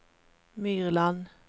Myrland